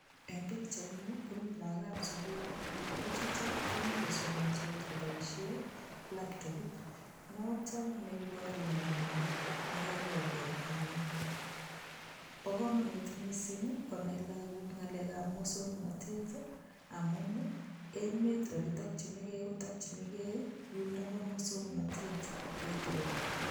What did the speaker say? Eng pichaini komii lookab sugul, lagochut komii kosomandos koboisien laptopit noton neiboru ng'omindo nekoiborge en yu, bokomonut missing konai lagok ng'alekab muswoknotet amun ii emet oletokyigei kotokyingee yuton bo muswoknote atkai tugul.